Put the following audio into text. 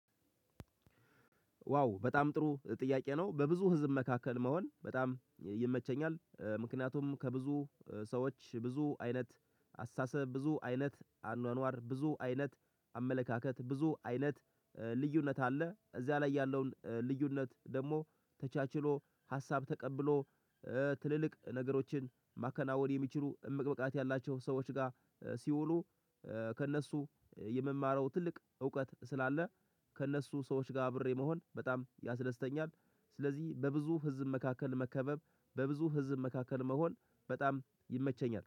ዋው በጣም ጥሩ ጥያቄ ነው በብዙ ህዝብ መካከል መሆን በጣም ይመቸኛል ምክንያቱም ከብዙ ሰዎች ብዙ አይነት አስተሳሰብ ብዙ አይነት አኗኗር ብዙ አይነት አመለካከት ብዙ አይነት ልዩነት አለ እዚያ ላይ ያለውን ልዩነት ደግሞ ተቻችሎ ሀሳብ ተቀብሎ ትልልቅ ነገሮችን ማከናወን የሚችሉ እምቅ ብቃት ያላቸው ሰዎች ጋር ሲውሉ ከእነሱ የመማረው ትልቅ እውቀት ስላለ ከእነሱ ሰዎች ጋር አብሬ መሆን በጣም ያስደስተኛል። ስለዚህ በብዙ ህዝብ መካከል መከበብ በብዙ ህዝብ መካከል መሆን በጣም ይመቸኛል።